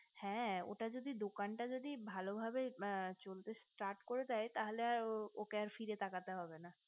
হ্যা ওটা যদি দোকানটা যদি ভালো ভাবে চলতে start করে দেয় তাহলে আর ওকে আর ফিরে তাকাতে হবে না